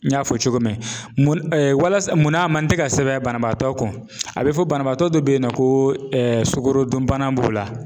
N y'a fɔ cogo min walasa munna a man tɛ ka sɛbɛn banabaatɔ kun, a bɛ fɔ banabaatɔ dɔ bɛ yen nɔ ko sukorodunbana b'o la,